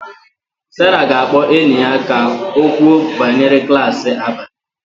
Sarah ga-akpọ enyi ya ka o kwuo banyere klas abalị